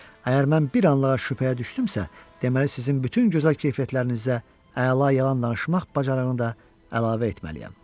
Əgər mən bir anlığa şübhəyə düşdümsə, deməli sizin bütün gözəl keyfiyyətlərinizə əla yalan danışmaq bacarığını da əlavə etməliyəm.